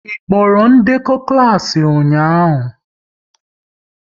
Ị kpọrọ ndekọ klas ụnyaahụ?